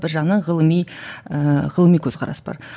бір жағынан ғылыми ыыы ғылыми көзқарас бар